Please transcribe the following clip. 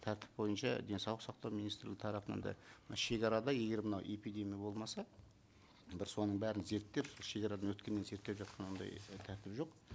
тәртіп бойынша денсаулық сақтау министрі тарапынан да мына шегарада егер мынау эпидемия болмаса бір соның бәрін зерртеп шегарадан өткеннен зерттеп жатқан ондай тәртіп жоқ